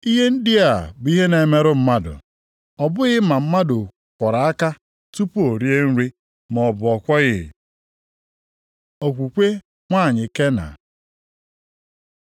Ihe ndị a bụ ihe na-emerụ mmadụ, ọ bụghị ma mmadụ kwọrọ aka tupu o rie nri, maọbụ na ọ kwọghị.” Okwukwe nwanyị Kena